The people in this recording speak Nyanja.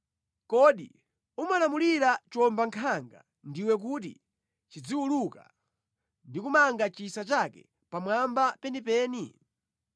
Kodi umalamulira chiwombankhanga ndiwe kuti chiziwuluka ndi kumanga chisa chake pamwamba penipeni?